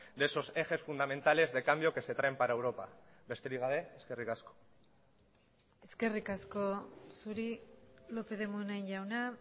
de esos ejes fundamentales de cambio que se traen para europa besterik gabe eskerrik asko eskerrik asko zuri lópez de munain jauna